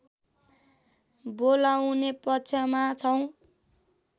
बोलाउने पक्षमा छौँ